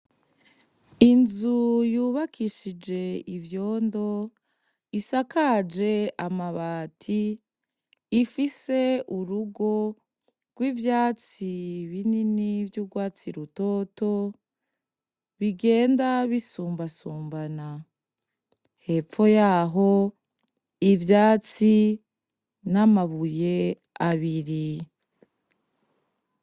Inzu yubakishije ivyondo isakaje amabati ifise urugo rw' ivyatsi binini vy'urwatsi rutoto bigenda bisumbasumbana hepfo yaho ivyatsi namabuye abiri.